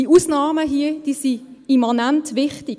Die Ausnahmen sind immanent wichtig.